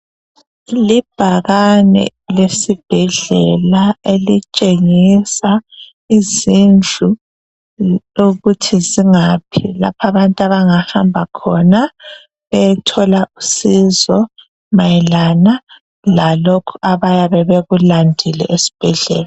Libhakane lesibhedlela elitshengisa izindlu lokuthi zangaphi lapha abantu abangahamba khona beyethola usizo mayelana lalokhu abayabe bekulandile esibhedlela.